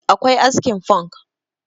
akwai askin funk